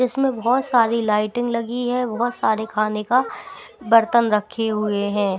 इसमें बहुत सारी लाइटिंग लगी है बहुत सारे खाने का बरतन रखे हुए हैं।